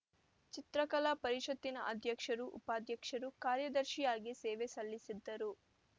ಚಿತ್ರಕಲಾ ಪರಿಷತ್ತಿನ ಅಧ್ಯಕ್ಷರು ಉಪಾಧ್ಯಕ್ಷರು ಕಾರ್ಯದರ್ಶಿಯಾಗಿ ಸೇವೆ ಸಲ್ಲಿಸಿದ್ದರು